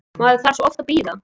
Maður þarf svo oft að bíða!